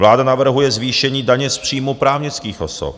Vláda navrhuje zvýšení daně z příjmů právnických osob.